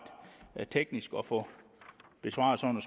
teknisk at få besvaret sådan